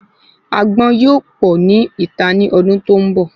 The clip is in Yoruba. Agbọ́n yóò pọ ni ita ni ọdún tó ń bọ̀